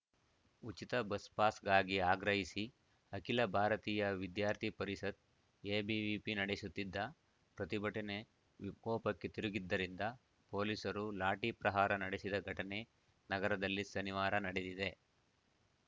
ಉಚಿತ ಬಸ್‌ಪಾಸ್‌ಗಾಗಿ ಆಗ್ರಹಿಸಿ ಅಖಿಲ ಭಾರತೀಯ ವಿದ್ಯಾರ್ಥಿ ಪರಿಷತ್‌ಎಬಿವಿಪಿ ನಡೆಸುತ್ತಿದ್ದ ಪ್ರತಿಭಟನೆ ವಿಕೋಪಕ್ಕೆ ತಿರುಗಿದ್ದರಿಂದ ಪೊಲೀಸರು ಲಾಠಿ ಪ್ರಹಾರ ನಡೆಸಿದ ಘಟನೆ ನಗರದಲ್ಲಿ ಶನಿವಾರ ನಡೆದಿದೆ